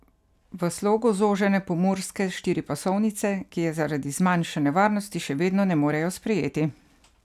V slogu zožene pomurske štiripasovnice, ki je zaradi zmanjšane varnosti še vedno ne morejo sprejeti?